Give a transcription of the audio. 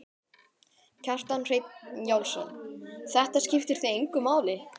Kjartan Hreinn Njálsson: Þetta skiptir þig engu máli?